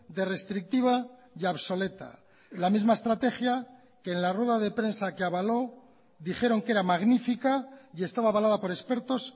de restrictiva y obsoleta la misma estrategia que en la rueda de prensa que avaló dijeron que era magnífica y estaba avalada por expertos